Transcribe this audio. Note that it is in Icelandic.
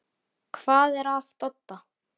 Hvað er að Dodda?